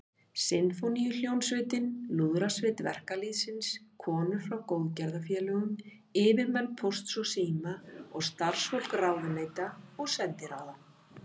Sinfóníuhljómsveitina, Lúðrasveit verkalýðsins, konur frá góðgerðarfélögum, yfirmenn Pósts og síma og starfsfólk ráðuneyta og sendiráða.